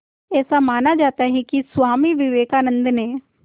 ऐसा माना जाता है कि स्वामी विवेकानंद ने